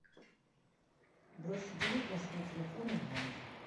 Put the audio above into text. бросить денег на свой телефон онлайн